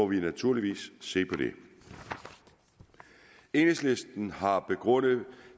vi naturligvis se på det enhedslisten har primært begrundet